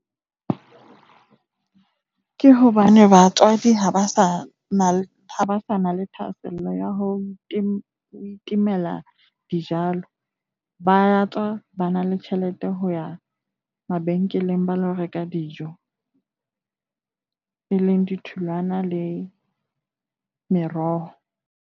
Ke hobane batswadi ha ba sa na le thahasello ya ho itemela dijalo. Ba tswa, ba na le tjhelete ho ya mabenkeleng ba lo reka dijo e leng ditholwana le meroho.